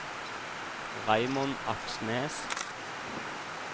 Raymond Aksnes